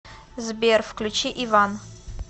сбер включи иван